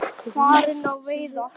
Farin á veiðar.